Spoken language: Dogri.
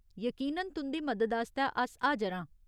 यकीनन ! तुं'दी मदद आस्तै अस हाजर आं।